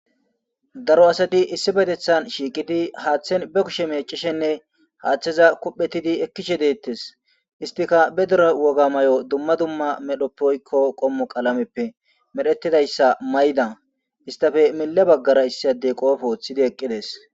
Daro asti issipetetan shiiqidi hatheni be kushe meecishenne hatheza kuphetidi ekishe detesi, istika be dere woga mayo dumma dumma medhopppe woyko qomo qalameppe medhetidaysa mayida , istappe mile bagara issi adeyi qoope wothid eqidesi.